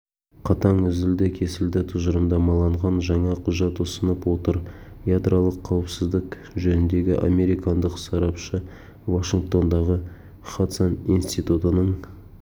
қатаң үзілді-кесілді тұжырымдамаланған жаңа құжат ұсынып отыр ядролық қауіпсіздік жөніндегі американдық сарапшы вашингтондағы хадсон институтының